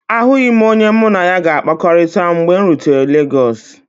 Ahụghị m onye mụ na ya ga-akpakọrịta mgbe m rutere Legọsu.